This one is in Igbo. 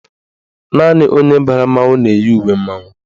Naanị onye bara mmanwụ na-eyi uwe mmanwụ.